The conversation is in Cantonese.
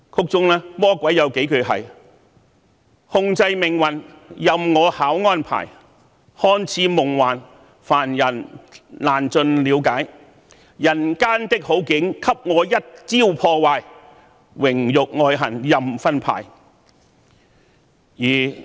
當中由魔鬼唱出的幾句歌詞是："控制命運，任我巧安排，看似夢幻，凡人難盡瞭解，人間的好景給我一朝破壞，榮辱愛恨任分派。